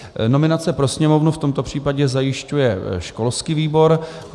Nominace pro Sněmovnu v tomto případě zajišťuje školský výbor.